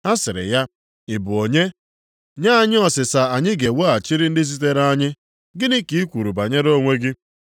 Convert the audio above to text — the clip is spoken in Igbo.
Ha sịrị ya, “Ị bụ onye? Nye anyị ọsịsa anyị ga-eweghachiri ndị zitere anyị. Gịnị ka i kwuru banyere onwe gị?”